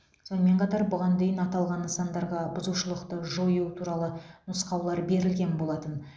сонымен қатар бұған дейін аталған нысандарға бұзушылықты жою туралы нұсқаулар берілген болатын